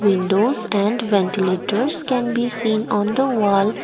windows and ventilators can be seen on the wall.